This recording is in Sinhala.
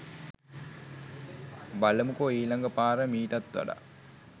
බලමුකෝ ඊලග පාර මීටත් වඩා